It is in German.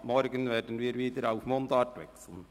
Ab morgen werden wir wieder auf Mundart wechseln.